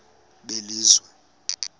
belizwe